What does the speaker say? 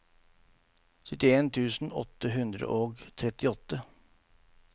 syttien tusen åtte hundre og trettiåtte